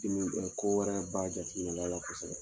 Dimi ɛ ko wɛrɛ b'a jatigila la kosɛbɛ.